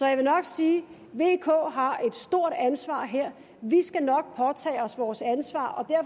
jeg vil nok sige at vk har et stort ansvar her vi skal nok påtage os vores ansvar